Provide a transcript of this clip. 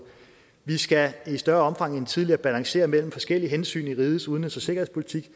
vi skal i større omfang end tidligere balancere mellem forskellige hensyn i rigets udenrigs og sikkerhedspolitik